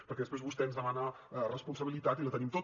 perquè després vostè ens demana responsabilitat i la tenim tota